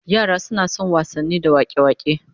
Yara suna son wasanni da wak'e-wak'e